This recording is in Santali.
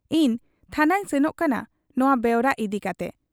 ᱤᱧ ᱛᱷᱟᱱᱟᱹᱧ ᱥᱮᱱᱚᱜ ᱠᱟᱱᱟ ᱱᱚᱶᱟ ᱵᱮᱣᱨᱟ ᱤᱫᱤ ᱠᱟᱴᱮ ᱾